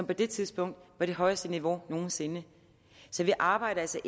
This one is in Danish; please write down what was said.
på det tidspunkt var det højeste niveau nogen sinde vi arbejder altså